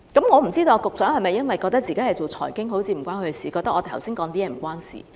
我不知道局長是否覺得自己負責財經，所以覺得我剛才的發言與他不相干？